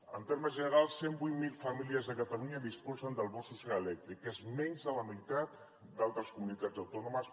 en termes generals cent i vuit mil famílies a catalunya disposen del bo social elèctric que és menys de la meitat d’altres comunitats autònomes